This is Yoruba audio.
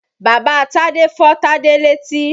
Bàba Tádé fọ́ Tádé létí.